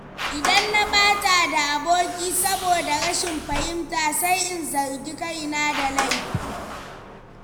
Idan na ɓata da aboki saboda rashin fahimta, sai in zargi kaina da laifi.